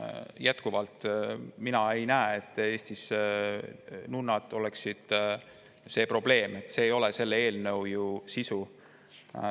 Mina jätkuvalt ei näe, et nunnad oleksid Eestis probleem, see ei ole ju selle eelnõu sisu.